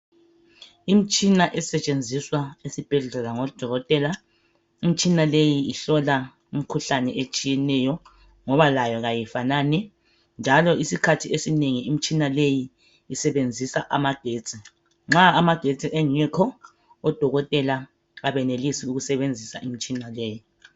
Imtshina esetshenziswa esibhedlela ngodokotela, imtshina leyi ihlola imkhuhlane etshiyeneyo ngoba layo kayifanani njalo isikhathi esinengi imtshina leyi isebenzisa amagetsi. Nxa amagetsi engekho odokotela abenelisi ukusebenzisa imitshina leyi.